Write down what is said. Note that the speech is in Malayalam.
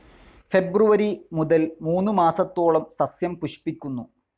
ഫെബ്രുവരി മുതൽ മൂന്നു മാസത്തോളം സസ്യം പുഷ്പിക്കുന്നു.